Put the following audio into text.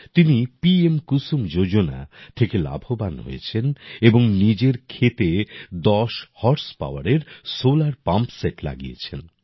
তিনি P M Kusum Yojana থেকে লাভবান হয়েছেন এবং নিজের ক্ষেতে দশ হর্সপাওয়ারের সোলার পাম্প সেট লাগিয়েছেন